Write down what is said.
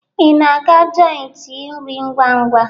Ị na-aga joiti nri ngwa-ngwa?